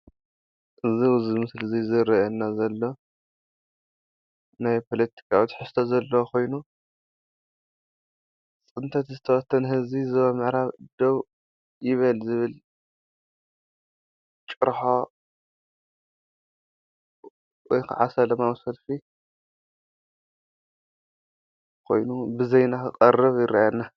እዚ አብዚ ምስሊ ዝርአየና ዘሎ ናይ ፖለቲካዊ ትሕዝቶ ዘለዎ ኮይኑ፤ “ፅንተት ዝተበተነ ህዝቢ ዞባ ምዕራብ ደው ይበል” ዝብል ጭርሖ ወይ ከዓ ሰለማዊ ሰልፊ ኮይኑ ብዜና ክቐርብ ይርአ አሎ፡፡